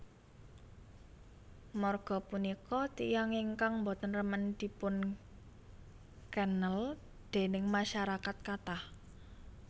Marga punika tiyang ingkang boten remen dipunkenl déning masarakat kathah